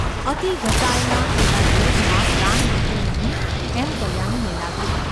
અતિ ઘસાયેલા તેના દેહમાં પ્રાણ રહ્યો નહિ એમ કલ્યાણીને લાગ્યું.